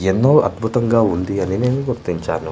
ఎన్నో అద్భుతంగా ఉంది అని నేను గుర్తించాను.